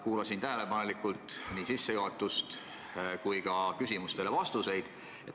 Kuulasin tähelepanelikult nii ettekannet kui ka küsimustele vastuseid.